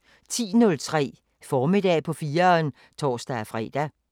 10:03: Formiddag på 4'eren (tor-fre)